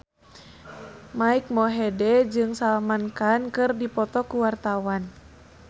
Mike Mohede jeung Salman Khan keur dipoto ku wartawan